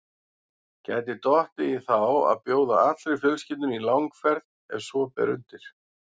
Gæti dottið í þá að bjóða allri fjölskyldunni í langferð ef svo ber undir.